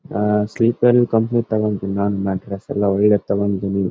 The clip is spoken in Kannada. ಅಹ್ ಸ್ಲೀಪರ್ ಕಂಪನಿದ ತೋಕೋತೀನಿ ತೊಕೋತೀನಿ .